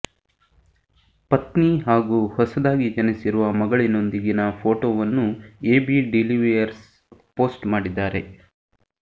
ಪತ್ನಿ ಹಾಗೂ ಹೊಸದಾಗಿ ಜನಿಸಿರುವ ಮಗಳಿನೊಂದಿಗಿನ ಫೋಟೊವನ್ನು ಎಬಿ ಡಿವಿಲಿಯರ್ಸ್ ಪೋಸ್ಟ್ ಮಾಡಿದ್ದಾರೆ